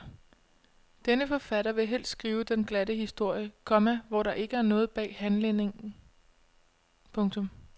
Denne forfatter vil helst skrive den glatte historie, komma hvor der ikke er noget bag handlingen. punktum